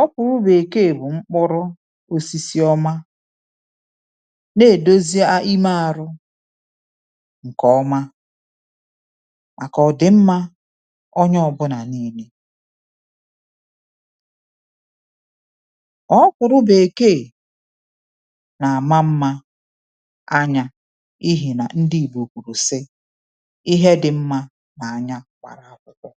Ọ̀kwụ̀rụ̀ bèkeè bụ̀ mkpụrụ osisi ọma na-èdozi imė arụ ǹkè ọma màkà ọ̀dị̀mmȧ onye ọ̀bụnà niilė. Ọ̀kwụ̀rụ̀ bèkeè nà-àma mmȧ anyȧ ihi nà ndị ìgbò kwùrù sị ihe dị mmȧ nà anya kwàrà akwụkwọ.